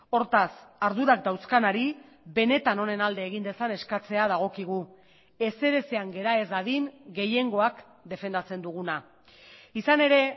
hortaz ardurak dauzkanari benetan honen alde egin dezan eskatzea dagokigu ezer ezean gera ez dadin gehiengoak defendatzen duguna izan ere